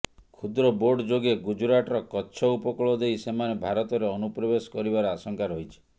କ୍ଷୁଦ୍ର ବୋଟ୍ ଯୋଗେ ଗୁଜରାଟର କଚ୍ଛ ଉପକୂଳ ଦେଇ ସେମାନେ ଭାରତରେ ଅନୁପ୍ରବେଶ କରିବାର ଆଶଙ୍କା ରହିଛି